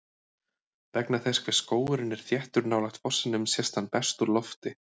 Vegna þess hve skógurinn er þéttur nálægt fossinum sést hann best úr lofti.